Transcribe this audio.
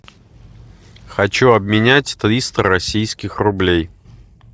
хочу обменять триста российских рублей